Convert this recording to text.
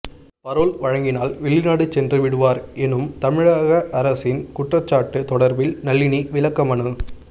parole வழங்கினால் வெளிநாடு சென்று விடுவார் எனும் தமிழக அரசின் குற்றச்சாட்டு தொடர்பில் நளினி விளக்கமனு